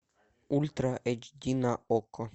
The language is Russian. ультра эйч ди на окко